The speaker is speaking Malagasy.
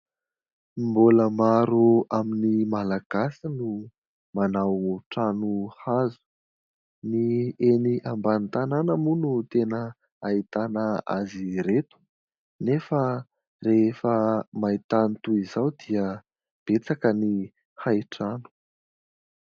Mbola maro amin'ny Malagasy no manao trano hazo. Ny eny ambany tanàna moa no tena ahitana azy ireto, nefa rehefa mahita ny toy izao dia betsaka ny hay trano.